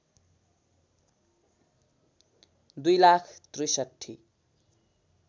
दुई लाख ६३